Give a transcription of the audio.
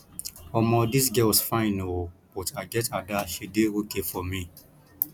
omo dis girls fine ooo but i get ada she dey okay for me